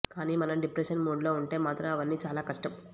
కానీ మనం డిప్రెషన్ మూడ్లో ఉంటే మాత్రం అవన్నీ చాలా కష్టం